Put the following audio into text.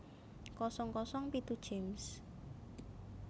kosong kosong pitu James